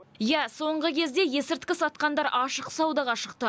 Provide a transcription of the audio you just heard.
иә соңғы кезде есірткі сатқандар ашық саудаға шықты